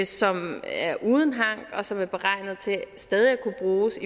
som er uden hank og som er beregnet til stadig at kunne bruges